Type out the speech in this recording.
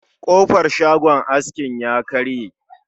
Kofar shagon askin ya karye